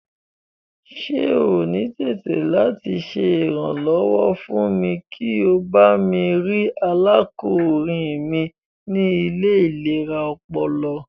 Ṣe o ni tẹ̀tì lati ṣe iranlọwọ fún mi kí o bami rii arákúnrin mi ni ile ilera ọpọlọ?